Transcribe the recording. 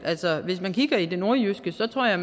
hvis man kigger i det nordjyske tror jeg